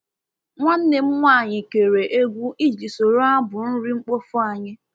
Nwanne m nwanyị kere egwu iji soro abụ nri mkpofu anyị.